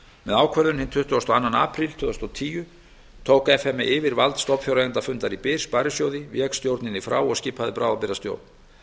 með ákvörðun hinn tuttugasta og annan apríl tvö þúsund og tíu yfirtók f m e vald stofnfjáreigendafundar í byr sparisjóði vék stjórninni frá og skipaði bráðabirgðastjórn